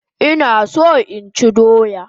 Ina so inchi doya